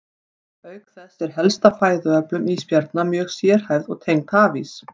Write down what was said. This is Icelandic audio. Auk þess er helsta fæðuöflun ísbjarna mjög sérhæfð og tengd hafís.